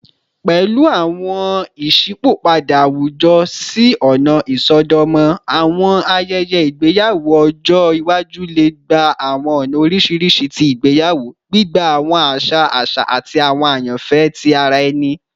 Pẹlu awọn iṣipopada awujọ si ọna isọdọmọ, awọn ayẹyẹ igbeyawo ọjọ iwaju le gba awọn ọna oriṣiriṣi ti igbeyawo, gbigba awọn aṣa aṣa ati awọn ayanfẹ ti ara ẹni.